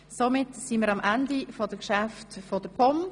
Somit sind wir am Ende der Geschäfte der POM angelangt.